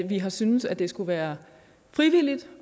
vi har syntes at det skulle være frivilligt